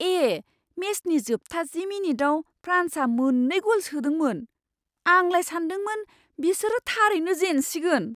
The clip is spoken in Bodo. ए! मेचनि जोबथा जि मिनिटआव फ्रान्सआ मोन्नै गल सोदोंमोन। आंलाय सान्दोंमोन बिसोरो थारैनो जेनसिगोन!